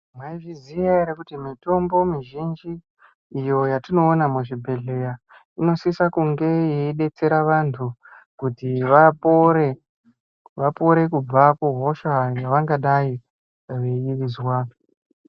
Maizviziya ere kuti mitombo mizhinji iyo yatinoona muzvi bhehleya inosisa kunge yeibetsera vantu kuti vapore, vapore kubva kuhosha yaangadai eizwa.